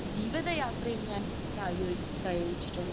ജീവിതയാത്രയിൽ ഞാൻ പ്രായോഗി...പ്രയോഗിച്ചിട്ടുള്ളത്.